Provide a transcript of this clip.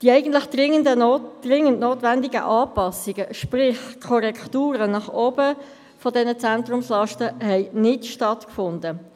Die eigentlich dringend notwendigen Anpassungen bei diesen Zentrumslasten, sprich Korrekturen nach oben, haben nicht stattgefunden.